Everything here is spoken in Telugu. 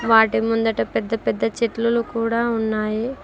వాటి ముందట పెద్ద పెద్ద చెట్లులు కూడా ఉన్నాయి.